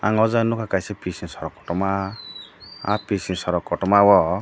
ang o jaga nogkha kaisa pissa sorok kotomavo pissa sorok kotoma o.